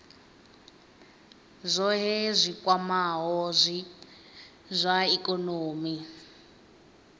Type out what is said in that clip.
zwohe zwi kwamaho zwa ikonomi